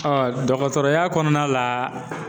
dɔgɔtɔrɔya kɔnɔna la